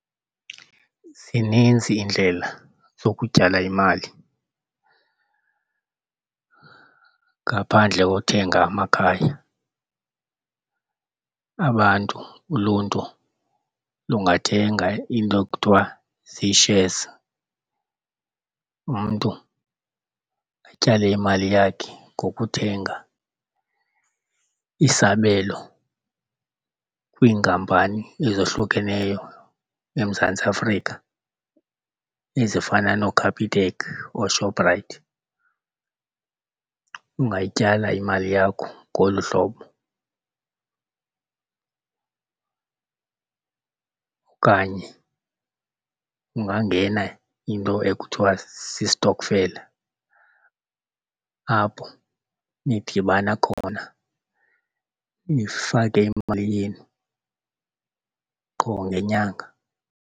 Zininzi iindlela zokutyala imali ngaphandle kothenga amakhaya. Abantu, uluntu lungathenga iinto ekuthiwa zii-shares. Umntu atyale imali yakhe ngokuthenga isabelo kwiinkampani ezohlukeneyo eMzantsi Afrika ezifana nooCapitec, ooShoprite. Ungayityala imali yakho ngolu hlobo okanye ungangena into ekuthiwa sistokfela apho nidibana khona nifake imali yenu qho ngenyanga.